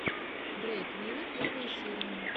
дрейк виво первая серия